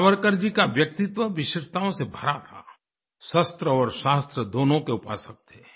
सावरकर जी का व्यक्तित्व विशेषताओं से भरा था शस्त्र और शास्त्र दोनों के उपासक थे